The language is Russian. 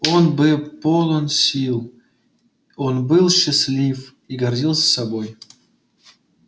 он был полон сил он был счастлив и гордился собой